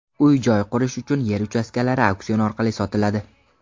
Uy-joy qurish uchun yer uchastkalari auksion orqali sotiladi.